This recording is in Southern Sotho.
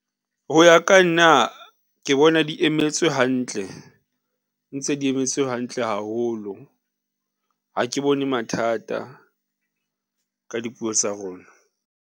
Ho ya ka nna ke bona di emetswe hantle, ntse di emetswe hantle haholo. Ha ke bone mathata ka dipuo tsa rona.